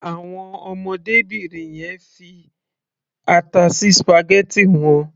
Àwọn ọmọdébìnrin yẹn fi ata sí spaghetti wọn.